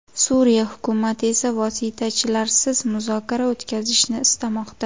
Suriya hukumati esa vositachilarsiz muzokara o‘tkazishni istamoqda.